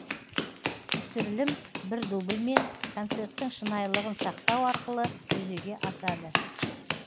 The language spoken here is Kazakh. түсірілім бір дубльмен концерттің шынайлығын сақтау арқылы жүзеге асады